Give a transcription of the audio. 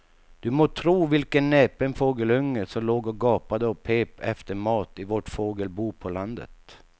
Du må tro vilken näpen fågelunge som låg och gapade och pep efter mat i vårt fågelbo på landet.